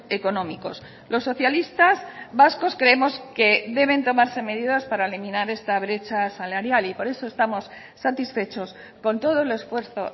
económicos los socialistas vascos creemos que deben tomarse medidas para eliminar esta brecha salarial y por eso estamos satisfechos con todo el esfuerzo